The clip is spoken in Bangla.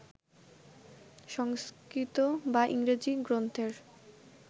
সংস্কৃত বা ইংরাজি গ্রন্থের